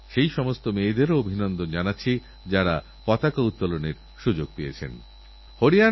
রাজ্যসরকার এবং কেন্দ্রীয় সরকার একসঙ্গে কাঁধে কাঁধ মিলিয়ে বন্যাকবলিত মানুষদের সাহায্যকরার জন্য আন্তরিক প্রচেষ্টা চালিয়ে যাচ্ছে